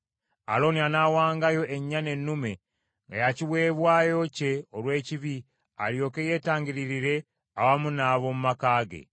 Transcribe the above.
“Alooni anaawangayo ennyana ennume nga ya kiweebwayo kye olw’ekibi alyoke yeetangiririre awamu n’ab’omu maka ge.